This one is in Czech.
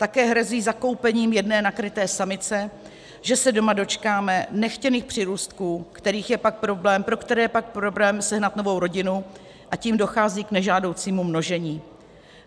Také hrozí zakoupením jedné nakryté samice, že se doma dočkáme nechtěných přírůstků, pro které je pak problém sehnat novou rodinu, a tím dochází k nežádoucímu množení.